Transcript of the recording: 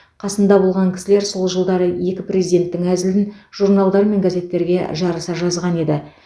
қасында болған кісілер сол жылдары екі президенттің әзілін журналдар мен газеттерге жарыса жазған еді